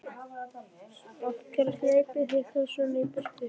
Af hverju hlaupið þið þá svona í burtu?